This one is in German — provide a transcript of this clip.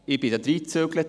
Ich zog dort ein.